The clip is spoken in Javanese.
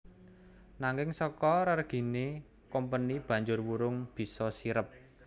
Nanging saka rerigené Kompeni banjur wurung bisa sirep